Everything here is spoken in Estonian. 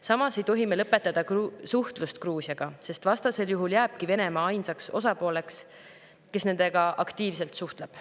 Samas ei tohi me lõpetada suhtlust Gruusiaga, sest vastasel juhul jääbki Venemaa ainsaks osapooleks, kes nendega aktiivselt suhtleb.